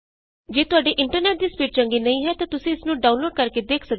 ਜੇ ਤੁਹਾਡੇ ਇੰਟਰਨੈਟ ਦੀ ਸਪੀਡ ਚੰਗੀ ਨਹੀਂ ਹੈ ਤਾਂ ਤੁਸੀਂ ਇਸ ਨੂੰ ਡਾਊਨਲੋਡ ਕਰਕੇ ਦੇਖ ਸਕਦੇ ਹੋ